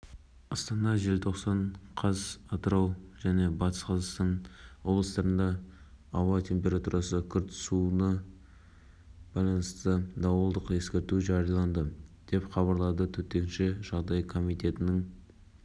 алдын ала мәліметтерге сүйенсек ол жылғы рысманова есімді азамат жылғы ахметов есімді ұлына қатысты шыққан сот үкіміне келіспегендіктен осы қадамға барған